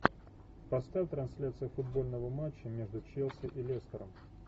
поставь трансляцию футбольного матча между челси и лестером